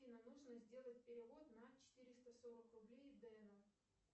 афина нужно сделать перевод на четыреста сорок рублей дену